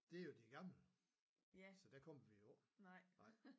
Det jo de gamle så der kommer vi jo ikke